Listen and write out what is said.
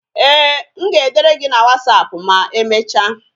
Ee, m ga-edere gị na wasapụ ma emecha.